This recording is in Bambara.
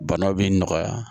Bana b'i nɔgɔya